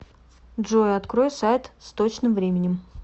джой открой сайт с точным временем